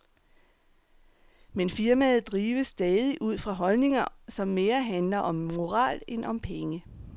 Men firmaet drives stadig ud fra holdninger, som mere handler om moral end om penge.